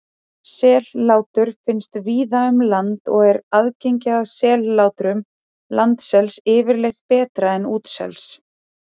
Sellátur finnast víða um land og er aðgengi að sellátrum landsels yfirleitt betra en útsels.